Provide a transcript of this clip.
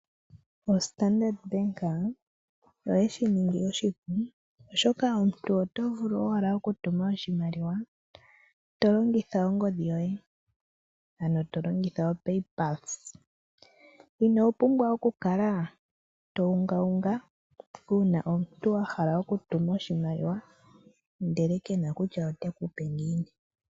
OStandardbank oyeshi ningi oshipu oshoka omuntu oto vulu owala oku tuma oshimaliwa tolongitha ongodhi yoye, ano tolongitha oPayPulse. Ino pumbwa oku kala to unga unga una omuntu ahala oku tuma oshimaliwa ndele kena kutya ote kupe ngini.